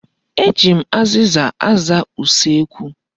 Eji m azịza aza usekwu.